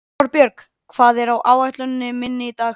Þorbjörg, hvað er á áætluninni minni í dag?